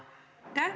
Aitäh!